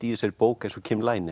í þessari bók eins og